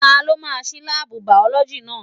Ta ló máa ṣí láàbù bìọ̀lọ́gì náà?